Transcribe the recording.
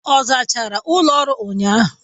Ọ zachara ụlọ ọrụ ụnyahụ.